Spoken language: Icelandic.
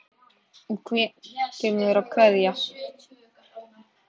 Þú kemur að kveðja.